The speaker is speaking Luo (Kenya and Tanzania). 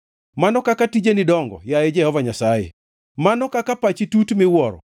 Mano kaka tijeni dongo, yaye Jehova Nyasaye, mano kaka pachi tut miwuoro!